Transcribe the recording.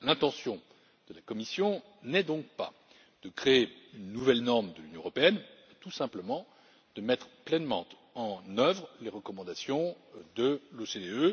L'intention de la Commission n'est donc pas de créer une nouvelle norme de l'Union européenne mais, tout simplement, de mettre pleinement en œuvre les recommandations de l'OCDE.